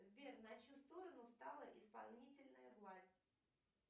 сбер на чью сторону встала исполнительная власть